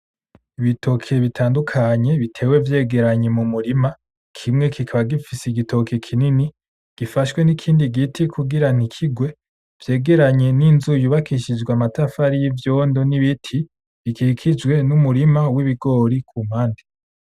Ibitoke bitandukanye bitaba vyegeranye mumurima, kimwe kikaba gifise igitoke kinini gifashwe n'ikindi giti kugira ntikigwe. Vyegeranye ninzu yubakishijwe amatafari y'ivyondo ni biti bikikijwe nu murima w'ibigore kumpande.